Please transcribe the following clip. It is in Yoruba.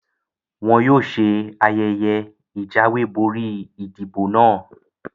Wọn yóò ṣe ayẹyẹ ìjáwé borí ìdìbò náà